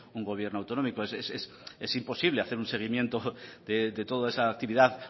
un gobierno autonómico es imposible hacer un seguimiento de toda esa actividad